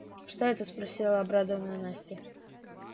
что это спросила обрадованная настя